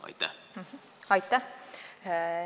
Aitäh!